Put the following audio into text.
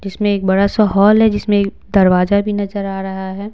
जिसमें एक बड़ा सा हॉल है जिसमें एक दरवाजा भी नजर आ रहा है।